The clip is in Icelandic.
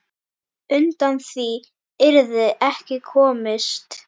Undan því yrði ekki komist.